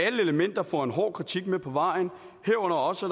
elementer får en hård kritik med på vejen herunder også